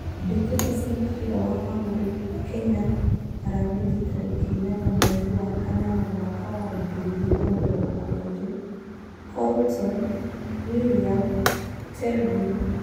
Mbitika cia mũbira wa magũrũ Kenya Aramithi tarĩki inyanaya wa mweri wa kanana mwaka wa ngiri igĩrĩ na mĩrongo ĩrĩ: Colton, William, Tevin